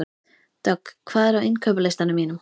Dögg, hvað er á innkaupalistanum mínum?